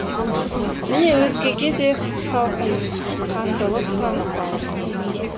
міне өзгеге де салқынқандылық танытпалық